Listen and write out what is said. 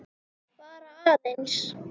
Bara aðeins.